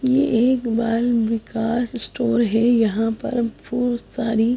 ये एक बाल विकास स्टोर है यहां पर बहोत सारी--